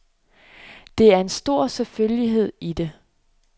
Der er en stor selvfølgelighed i det.